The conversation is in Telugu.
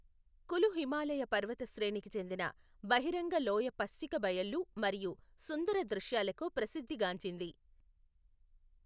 కులు హిమాలయ పర్వత శ్రేణికి చెందిన బహిరంగ లోయ పచ్చిక బయళ్ళు మరియు సుందర దృశ్యాలకు ప్రసిద్ధి గాంచింది.